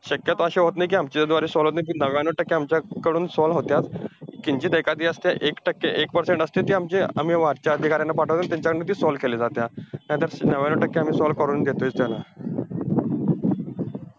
शक्यतो असं होत नाही कि, आमच्याद्वारे, solve होतं नाही, नव्यान्नव टक्के आमच्याकडून ती solve होत्यात किंचित एखादी असते, ती एक टक्के एक percent असते ती आमच्या आम्ही वरच्या अधिकाऱ्यांना पाठवतात. त्यांच्याकडून ती solve केली जातेया. नाहीतर नव्यान्नव टक्के आम्ही solve करून घेतोय त्याला.